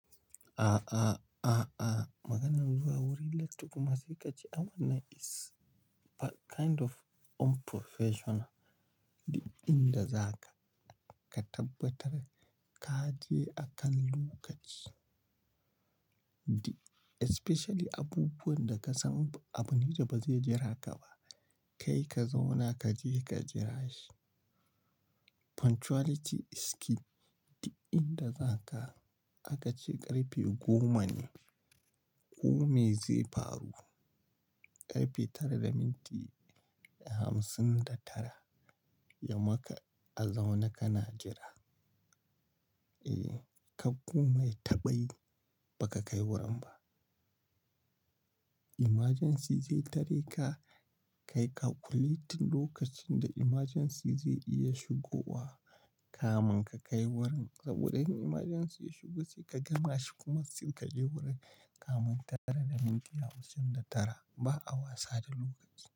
A a a a. Maganar zuwa wurin latti kuma sai ka ce aman na is kind of unprofessional. Duk in da za ka ka tabbatar ka je akan lokaci. Di especially abubuwan da ka san abu ne da ba zai jira ka ba, kai ka zauna ka je ka jira shi. Punctuality is key. Di in da za ka aka ce ƙarfe goma ne, kome zai faru ƙarfe tara da minti hamsin da tara, ya maka a zaune ka na jira. E, ka goma yaaba yi ba ka kai wurin ba. Emergency zai tare ka, ka yi calculating lokacin da emergency zai iya shigowa kamin ka kai wurin. Saboda in emergency ya shigo sai ka gama shi kuma sai ka je wurin kamin tara da minti hamsin da tara, ba a wasa da lokaci.